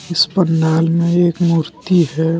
इस पंडाल में एक मूर्ति है।